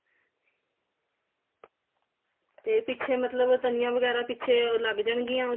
ਤੇ ਪਿੱਛੇ ਮਤਲਬ ਤਣੀਆ ਵਗੈਰਾ ਪਿੱਛੇ ਉਹ ਲੱਗ ਜਾਨਗੀਆ